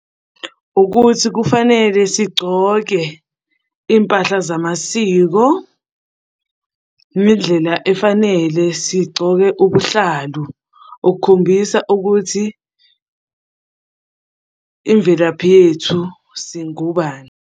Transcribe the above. Ukuthi kufanele sigcoke iy'mpahla zamasiko ngendlela efanele sigcoke ubuhlalu, okukhombisa ukuthi imvelaphi yethu singobani.